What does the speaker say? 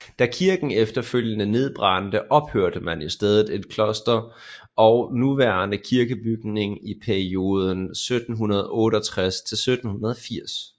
Da kirken efterfølgende nedbrændte opførte man i stedet et kloster og nuværende kirkebygning i perioden 1768 til 1780